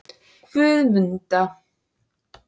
Guðmunda